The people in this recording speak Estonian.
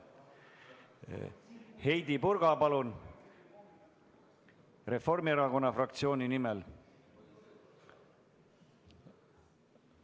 Heidy Purga, palun, Reformierakonna fraktsiooni nimel!